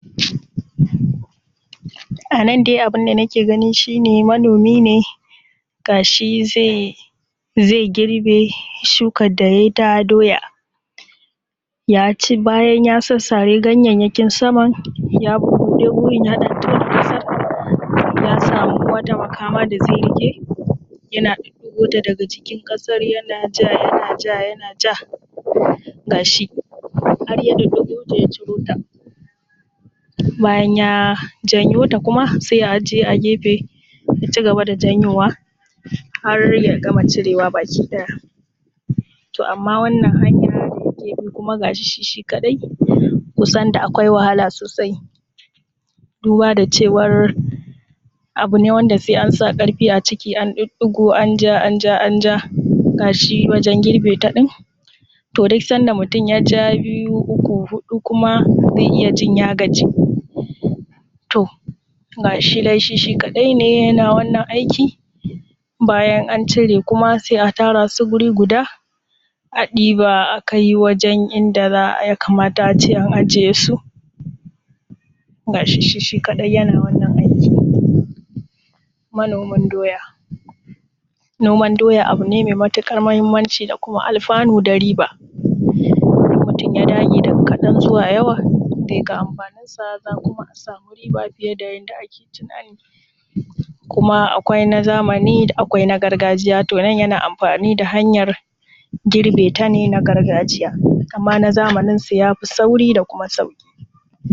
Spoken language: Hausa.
Anan dai abunda nake gani gashinan manomi ne gashi zai girbe shukan da yayi na doya, ya ci bayan ya sassare ganyayyakin saman ya bubbuɗe yaɗan tattofo ya samu makaman da zai rike yana hakota daga cikin ƙasan yanaja yanaja yanaja, gashi har yakai inda ya janyo ta. Bayan ya janyo ta sai ya a jiye a jefe sai ya ƙara janyowa harya gama cirowa gabaki ɗaya. A wannan hanya kusan gashi shi kaɗai kusan da akwai wahala sosai duba cewan abune wanda sai ansa karfin a cikin an diddigo anja, anja, anja gashi wajen girbe ta ɗin in yaja biyu, uku, hudu zaiji ya gaji. To gashi dai shi shi kaɗai yana wannan aiki bayan an cire kuma sai a tarasu guri a ɗiba akai wajen inda yakamata a ce a ajesu, gashi shi shi kaɗai yana wannan aikin. Manomin doya noman doya abune mai matuƙar mahimmanci da kuma alfanu da riba, in mutun ya dage daga kaɗan zuwa yawa zai ga amfanin sa za kuma a sami riba fiye da yadda ake tsammani. Kuma akwai na zamani akwai na gargajiya to nan yana amfani da hanyan girbeta ne na gargajiya ittama na zamani sai yafi sauri da kuma sauƙi.